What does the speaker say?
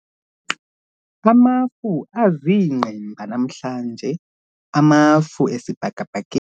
Amafu aziingqimba namhlanje amafu esibhakabhakeni